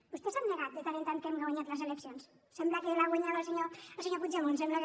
vostès han negat de tant en tant que hem guanyat les eleccions sembla que les ha guanyades el senyor puigdemont que sembla que